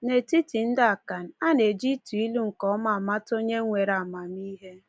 N’etiti ndị Akan, a na-eji ịtụ ilu nke ọma amata onye nwere amamihe.